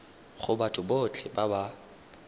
go batho botlhe ba ba